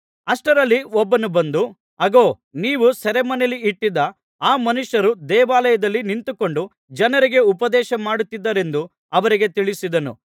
ಅಷ್ಟರಲ್ಲಿ ಒಬ್ಬನು ಬಂದು ಅಗೋ ನೀವು ಸೆರೆಮನೆಯಲ್ಲಿಟ್ಟಿದ್ದ ಆ ಮನುಷ್ಯರು ದೇವಾಲಯದಲ್ಲಿ ನಿಂತುಕೊಂಡು ಜನರಿಗೆ ಉಪದೇಶಮಾಡುತ್ತಿದ್ದಾರೆಂದು ಅವರಿಗೆ ತಿಳಿಸಿದನು